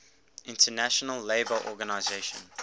international labour organization